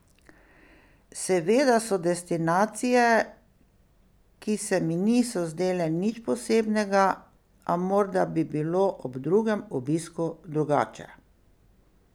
Seveda so destinacije, ki se mi niso zdele nič posebnega, a morda bi bilo ob drugem obisku drugače.